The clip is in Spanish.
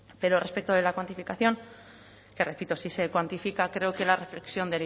pero respecto de la cuantificación que repito sí se cuantifica creo que la reflexión